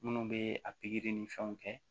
Minnu bɛ a pikiri ni fɛnw kɛ